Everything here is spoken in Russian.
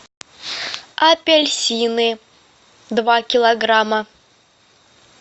апельсины два килограмма